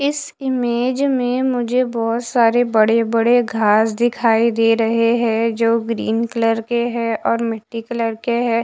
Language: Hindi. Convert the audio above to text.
इस इमेज में मुझे बहुत सारे बड़े-बड़े घास दिखाई दे रहे हैं जो ग्रीन कलर के हैं और मिट्टी कलर के हैं।